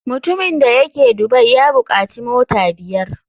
Mutumin da yake dubai ya bukaci mota biyar.